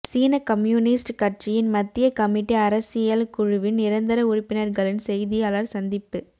சீனக் communist கட்சியின் மத்திய committee அரசியல் குழுவின் நிரந்தர உறுப்பினர்களின் செய்தியாளர் சந்திப்பு